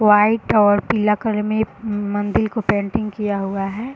White और पीला colour में मंदील को पेंटिंग किया हुआ है।